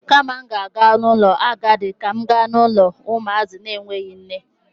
Kama m ga-aga n'ụlọ agadi, ka m ga n'ụlọ ụmụazị na-enweghi nne.